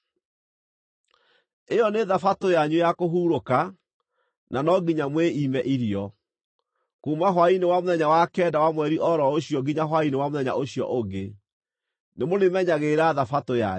Ĩyo nĩ Thabatũ yanyu ya kũhurũka, na no nginya mwĩime irio. Kuuma hwaĩ-inĩ wa mũthenya wa kenda wa mweri o ro ũcio nginya hwaĩ-inĩ wa mũthenya ũcio ũngĩ, nĩmũrĩmenyagĩrĩra Thabatũ yanyu.”